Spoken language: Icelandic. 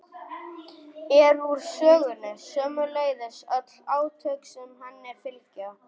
er úr sögunni, sömuleiðis öll átök sem henni fylgja.